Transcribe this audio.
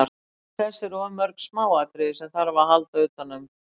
Til þess eru of mörg smáatriði sem þarf að halda utanum.